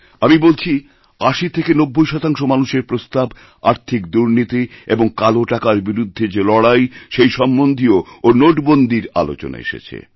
আমি বলছি ৮০ থেকে ৯০ শতাংশ মানুষের প্রস্তাব আর্থিক দুর্নীতি এবং কালোটাকারবিরুদ্ধে যে লড়াই সেই সম্বন্ধীয় ও নোটবন্দীর আলোচনা এসেছে